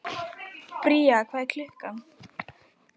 Bría, hvað er klukkan?